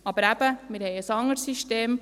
Aber eben: Wir haben ein anderes System.